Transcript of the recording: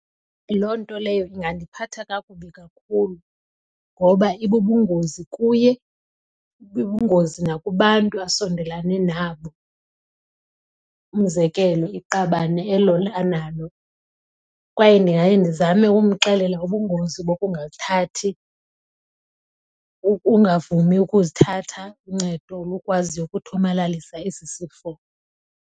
Loo nto leyo ingandiphatha kakubi kakhulu ngoba ibubungozi kuye, ibubungozi nakubantu asondelane nabo. Umzekelo, iqabane elo analo. Kwaye ndingaye ndizame ukumxelela ubungozi bokungathathi, ukungavumi ukuzithatha uncedo lukwaziyo ukuthomalalisa esi sifo.